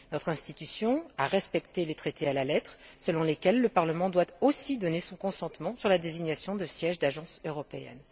Notre institution a respecté à la lettre les traités, selon lesquels le Parlement doit aussi donner son consentement à la désignation des sièges des agences européennes.